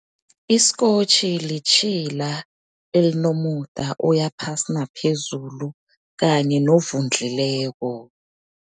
Isikotjhi litjhila elinomuda oyaphasi naphezulu kanye novundlileko.